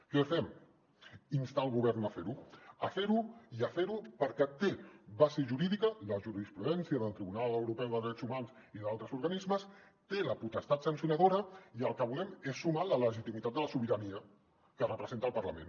què fem instar el govern a fer·ho a fer·ho i a fer·ho perquè té base jurídica la jurisprudència del tribunal europeu de drets humans i d’altres organismes té la potestat sancionadora i el que volem és sumar la legitimi·tat de la sobirania que representa el parlament